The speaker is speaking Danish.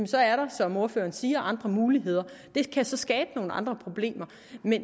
så er der som ordføreren siger andre muligheder det kan så skabe nogle andre problemer